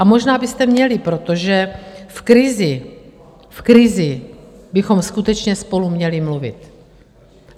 A možná byste měli, protože v krizi bychom skutečně spolu měli mluvit.